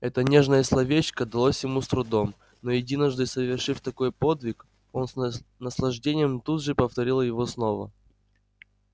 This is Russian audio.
это нежное словечко далось ему с трудом но единожды совершив такой подвиг он с наслаждением тут же повторил его снова